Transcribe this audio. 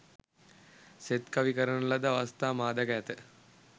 සෙත්කවි කරන ලද අවස්ථා මා දැක ඇත.